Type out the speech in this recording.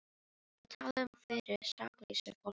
Að tala um fyrir saklausu fólki